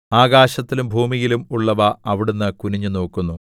ആകാശത്തിലും ഭൂമിയിലും ഉള്ളവ അവിടുന്ന് കുനിഞ്ഞുനോക്കുന്നു